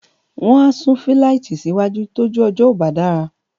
wọ́n á sún fíláìtì sí wájú tójú ọjọ́ ò bá dára